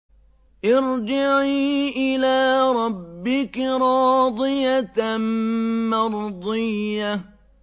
ارْجِعِي إِلَىٰ رَبِّكِ رَاضِيَةً مَّرْضِيَّةً